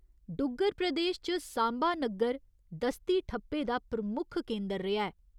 डुग्गर प्रदेश च 'सांबा' नग्गर दस्ती ठप्पे दा प्रमुख केंदर रेहा ऐ।